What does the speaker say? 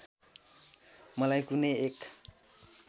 मलाई कुनै एक